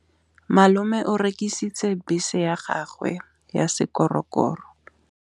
Malome o rekisitse bese ya gagwe ya sekgorokgoro.